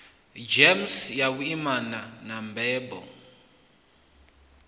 gems ya vhuimana na mbebo